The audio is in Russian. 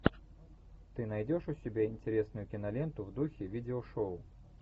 ты найдешь у себя интересную киноленту в духе видео шоу